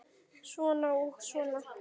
Svona og svona.